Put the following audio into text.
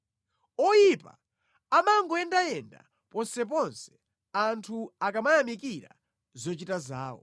Oyipa amangoyendayenda ponseponse anthu akamayamikira zochita zawo.